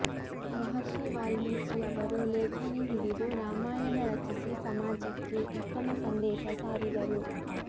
ಮಹರ್ಷಿ ವಾಲ್ಮೀಕಿಯವರು ಲೇಖನಿ ಹಿಡಿದು ರಾಮಾಯಣ ರಚಿಸಿ ಸಮಾಜಕ್ಕೆ ಉತ್ತಮ ಸಂದೇಶ ಸಾರಿದರು